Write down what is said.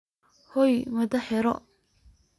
Xoyoo madhaxa iixir.